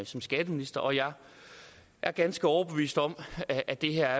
som skatteminister og jeg er ganske overbevist om at det her